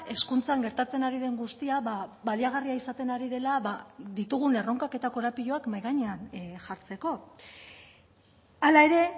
hezkuntzan gertatzen ari den guztia baliagarria izaten ari dela ditugun erronkak eta korapiloak mahai gainean jartzeko hala ere